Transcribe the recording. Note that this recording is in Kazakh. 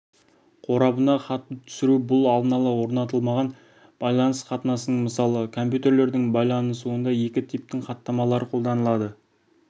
қорабына хатты түсіру бұл алдын-ала орнатылмаған байланыс қатынасының мысалы компьютерлердің байланысуында екі типтің хаттамалары қолданылады